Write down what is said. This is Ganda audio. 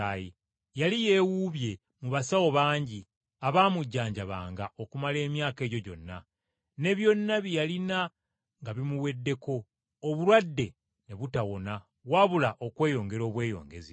Yali yeewuubye mu basawo bangi abaamujanjabanga okumala emyaka egyo gyonna; ne byonna bye yalina nga bimuweddeko, obulwadde ne butawona wabula okweyongera obweyongezi.